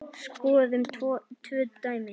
Skoðum tvö dæmi.